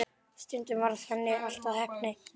Stundum varð henni allt að heppni.